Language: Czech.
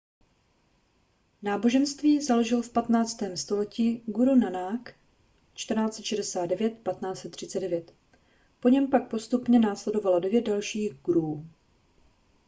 náboženství založil v 15. století guru nának 1469–1539. po něm pak postupně následovalo devět dalších guruů